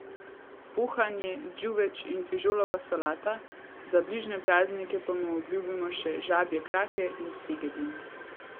Pohanje, džuveč in fižolova solata, za bližnje praznike pa mu obljubimo še žabje krake in segedin.